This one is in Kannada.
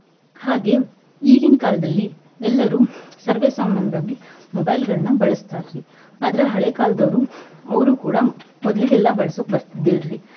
ಹಾಗೆ ಈಗಿನ ಕಾಲ್ದಲ್ಲಿ ಎಲ್ಲರು ಸರ್ವೇ ಸಾಮಾನ್ಯವಾಗಿ mobile ಗಳನ್ನ ಬಳಸ್ತಾರಿ ಆದ್ರ ಹಳೆ ಕಾಲದವ್ರು ಅವ್ರು ಕೂಡಾ ಮೊದ್ಲಿಗೆಲ್ಲ ಎಲ್ಲಾ ಬಳಸೋಕ್ ಬರ್ತಿದ್ದಿಲ್ರಿ.